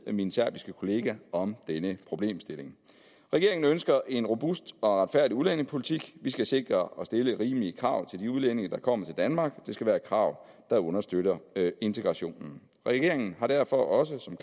min serbiske kollega om denne problemstilling regeringen ønsker en robust og retfærdig udlændingepolitik vi skal sikre og stille rimelige krav til de udlændinge der kommer til danmark det skal være krav der understøtter integrationen regeringen har derfor også som